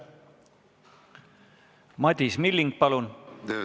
Madis Milling, palun!